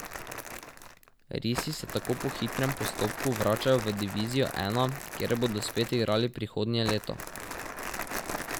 Risi se tako po hitrem postopku vračajo v divizijo I, kjer bodo spet igrali prihodnje leto.